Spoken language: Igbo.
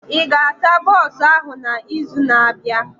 Ị ga-asa bọsụ ahụ na izu na abịa?